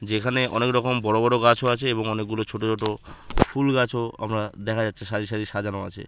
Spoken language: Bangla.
যেখানে অনেকরকম বড় বড় গাছও আছে। এবং অনেকগুলো ছোট ছোট ফুলগাছও আমরা দেখা যাচ্ছে সারি সারি সাজানো আছে।